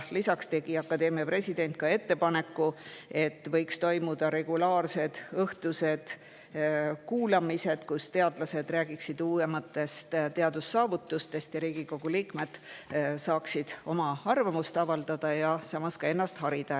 Lisaks tegi akadeemia president ettepaneku, et võiks toimuda regulaarsed õhtused kuulamised, kus teadlased räägiksid uuematest teadussaavutustest ning Riigikogu liikmed saaksid oma arvamust avaldada ja samas ennast harida.